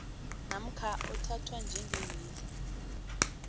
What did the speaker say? namkha othathwa njengewili